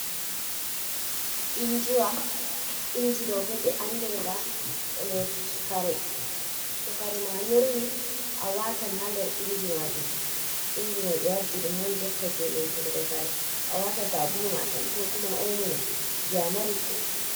Injiwa. Inji ɗo bo ɓe andir nga lotuki kare, to kare ma nyorwi a watan haa der inji majum. iInji mai ɓe waddi ɗum man jotta je loturgo kare, a wata sabuluma tan ko kuma omo ma je a mari fu.